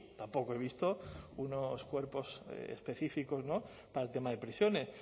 tampoco he visto unos cuerpos específicos para el tema de prisiones